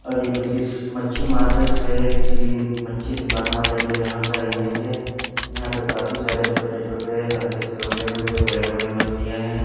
और ये किसी मच्छि मार्केट से किसी मच्छी दुकान वाले के यहां का इमेज है यहां पे काफी सारे छोटे छोटे हल्के से लंबे लंबे बड़े बड़े मछलियां है।